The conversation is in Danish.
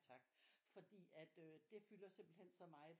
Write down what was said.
Tak fordi at øh det fylder simpelthen så meget